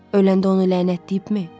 Öləndə onu lənətləyibmi?